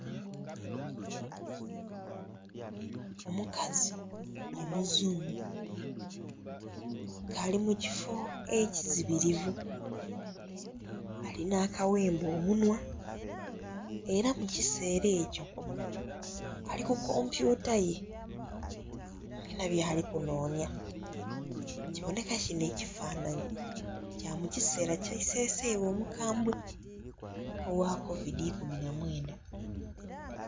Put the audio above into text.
Omukazi omuzungu nga ali mukifoo ekizibirivu alina akaghemba omunhwa era mukisera ekyo ali kukompyuta ye alina byalikunonya kiboneka kino ekifanhanhi kamukisera kye isesebwa omukambwe ogha kovidi ikumi na mwenda